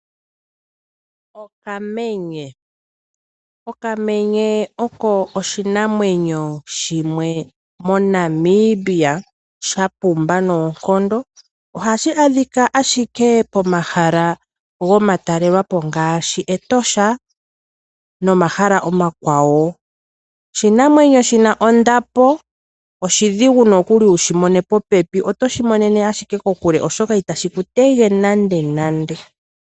Okamenye, okamenye oko oshinamwenyo shimwe moNamibia sha pumbwa noonkondo, ohashi a dhika ashike pomahala guutalelwa po ngaashi Etosha nomahala omakwawo. Shino oshinamwenyo shina ondapo, oshi dhigu nookuli okushi mona popepi, otoshi monene ashike kokule oshoka itashi ku te ge nande nande.